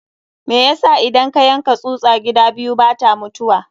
Me yasa idan ka yanka tsusa gida biyu bata mutuwa?